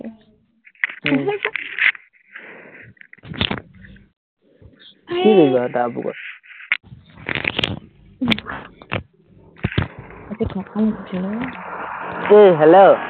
এৰ hello